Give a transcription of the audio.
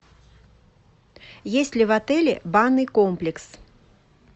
есть ли в отеле банный комплекс